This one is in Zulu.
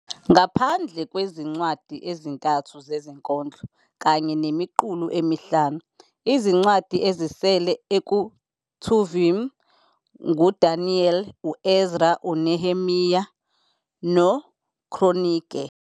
Ngaphandle kwezincwadi ezintathu zezinkondlo kanye nemiqulu emihlanu, izincwadi ezisele eKetuvim nguDaniel, uEzra - uNehemiya noKronike.